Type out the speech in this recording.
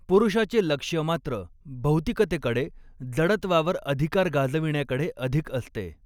पुरूषाचे लक्ष्य मात्र भौतिकतेकडे, जडत्वावर अधिकार गाजविण्याकडे अधिक असते.